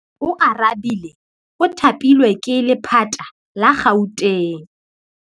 Oarabile o thapilwe ke lephata la Gauteng.